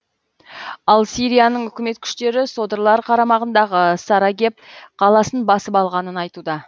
ал сирияның үкімет күштері содырлар қарамағындағы сарагеб қаласын басып алғанын айтуда